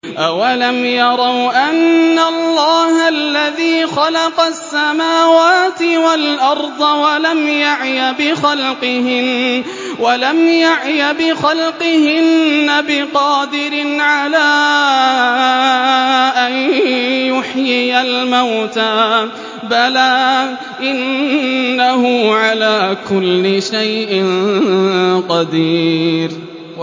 أَوَلَمْ يَرَوْا أَنَّ اللَّهَ الَّذِي خَلَقَ السَّمَاوَاتِ وَالْأَرْضَ وَلَمْ يَعْيَ بِخَلْقِهِنَّ بِقَادِرٍ عَلَىٰ أَن يُحْيِيَ الْمَوْتَىٰ ۚ بَلَىٰ إِنَّهُ عَلَىٰ كُلِّ شَيْءٍ قَدِيرٌ